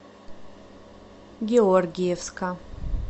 георгиевска